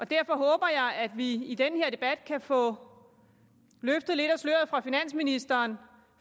derfor håber jeg at vi i den her debat kan få løftet lidt af sløret fra finansministeren